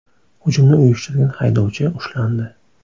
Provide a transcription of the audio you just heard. Hujumni uyushtirgan haydovchi ushlandi.